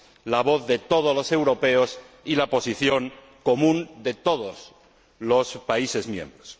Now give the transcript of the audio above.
la voz de todos los europeos y la posición común de todos los países miembros.